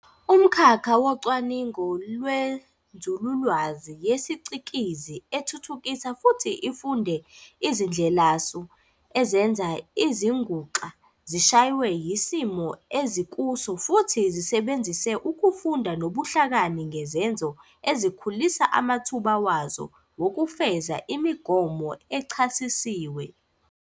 umkhakha wocwaningo lwenzululwazi yesicikizi ethuthukisa futhi ifunde izindlelasu ezenza izinguxa zishwaye isimo ezikuso futhi zisebenzise ukufunda nobuhlakani ngezenzo ezikhulisa amathuba wazo wokufeza imigomo echasisiwe.